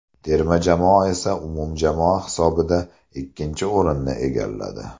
Terma jamoa esa umumjamoa hisobida ikkinchi o‘rinni egalladi.